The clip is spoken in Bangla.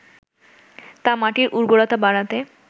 তা মাটির উর্বরতা বাড়াতে